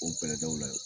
O bɛlɛdaw la